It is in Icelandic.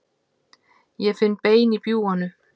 Ég finn bein í bjúganu.